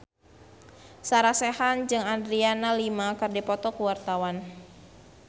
Sarah Sechan jeung Adriana Lima keur dipoto ku wartawan